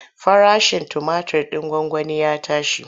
Farashin tumatir ɗin gwangwani ya tashi.